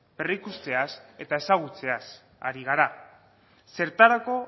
berrikusteaz eta ezagutzeaz ari gara zertarako